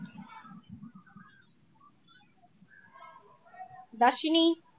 Dharshini